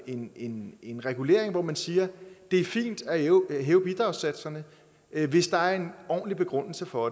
en en regulering hvor man siger at det er fint at hæve hæve bidragssatserne hvis der er en ordentlig begrundelse for